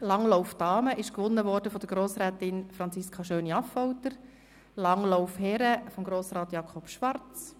Beim Langlauf Damen gewann Grossrätin Schöni-Affolter und beim Langlauf Herren Grossrat Schwarz.